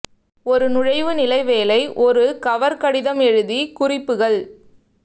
ஒரு நுழைவு நிலை வேலை ஒரு கவர் கடிதம் எழுதி குறிப்புகள்